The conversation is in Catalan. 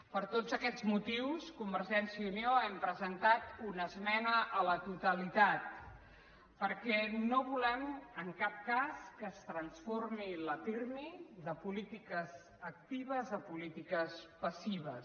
per tots aquests motius convergència i unió hem presentat una esmena a la totalitat perquè no volem en cap cas que es transformi el pirmi de polítiques actives a polítiques passives